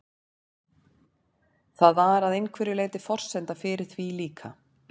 Það var að einhverju leyti forsenda fyrir því líka.